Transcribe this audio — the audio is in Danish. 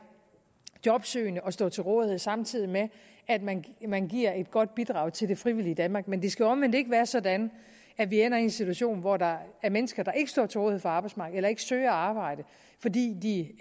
jobsøgende og stå til rådighed samtidig med at man man giver et godt bidrag til det frivillige danmark men det skal jo omvendt ikke være sådan at vi ender i en situation hvor der er mennesker der ikke står til rådighed for arbejdsmarkedet eller ikke søger arbejde fordi de